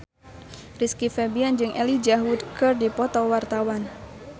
Rizky Febian jeung Elijah Wood keur dipoto ku wartawan